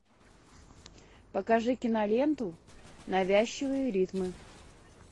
покажи киноленту навязчивые ритмы